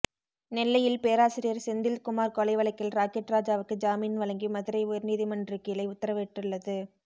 நெல்லையில் பேராசிரியர் செந்தில் குமார் கொலை வழக்கில் ராக்கெட் ராஜாவுக்கு ஜாமீன் வழங்கி மதுரை உயர்நீதிமன்றகிளை உத்தரவிட்டுள்ளது